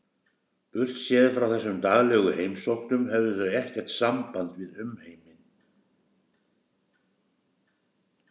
Burtséð frá þessum daglegu heimsóknum höfðu þau ekkert samband við umheiminn.